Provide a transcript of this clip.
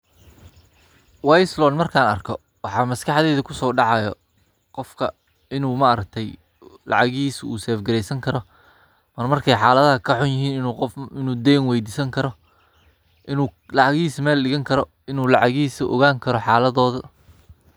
Waa islo markaan arko. Waxa maskaxdeeda ku soo dhacayo qofka inuu maartay lacagii uu safe-gareysan karo. Markay xaaladaha ka xun yihiin inuu qof inuu deyn weydisan karo? Inuu lacagii maa ligan karo? Inuu lacagti u ogaan karo xalladooda?